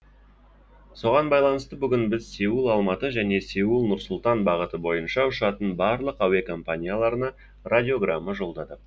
соған байланысты бүгін біз сеул алматы және сеул нұр сұлтан бағыты бойынша ұшатын барлық әуе компанияларына радиограмма жолдадық